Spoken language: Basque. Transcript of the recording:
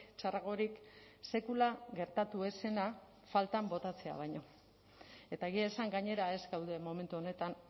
txarragorik sekula gertatu ez zena faltan botatzea baino eta egia esan gainera ez gaude momentu honetan